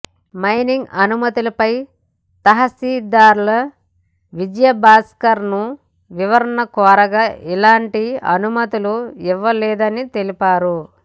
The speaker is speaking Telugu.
మైనింగ్ అనుమ తులపై తహసీల్దార్ విజయభాస్కర్ ను వివరణ కోరగా ఇలాంటి అనుమతులు ఇవ్వలేదని తెలిపారు